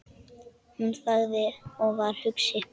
Hún þagði og var hugsi.